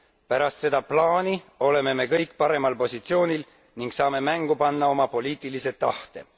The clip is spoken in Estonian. Pärast seda plaani oleme me kõik paremal positsioonil ning saame mängu panna oma poliitilise tahte.